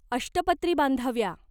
अष्टपत्री बांधाव्या.